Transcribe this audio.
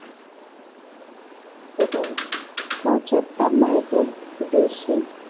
এবং পঁচাত্তর মাইলের বেশি